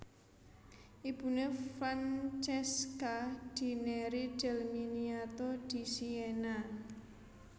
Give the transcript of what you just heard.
Ibuné Francesca di Neri del Miniato di Siena